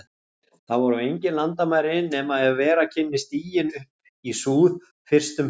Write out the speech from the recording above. Þar voru engin landamæri, nema ef vera kynni stiginn upp í súð- fyrst um sinn.